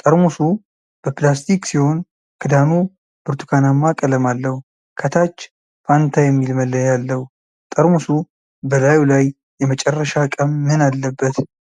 ጠርሙሱ በፕላስቲክ ሲሆን፣ ክዳኑ ብርቱካናማ ቀለም አለው። ከታች "ፋንታ" የሚል መለያ አለው። ጠርሙሱ በላዩ ላይ የመጨረሻ ቀን ምን አለበት?